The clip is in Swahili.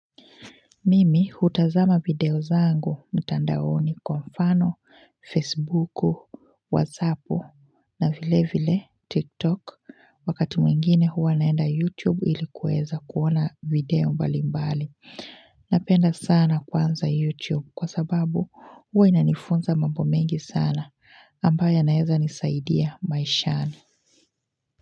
Mimi hutazama video zangu mtandaoni kwa mfano, facebooku, whatsappu na vile vile tiktok wakati mwingine huwa naenda youtube ili kuweza kuona video mbali mbali. Napenda sana kwanza youtube kwa sababu huwa inanifunza mambo mengi sana. Ambayo yanaweza nisaidia maishani.